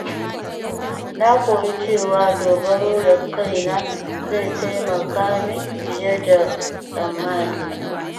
Na koyi cewa dogaro da kaina zai taimaka min fiye da tsammanina.